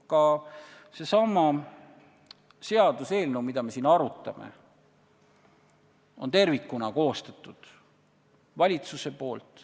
Ka sellesama seaduseelnõu, mida me siin arutame, on tervikuna koostanud valitsus.